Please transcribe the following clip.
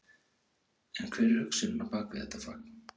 En hver er hugsunin á bak við þetta fagn?